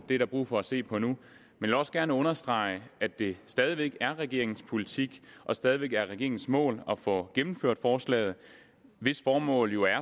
det er der brug for at se på nu men vil også gerne understrege at det stadig væk er regeringens politik og stadig væk er regeringens mål at få gennemført forslaget hvis formål jo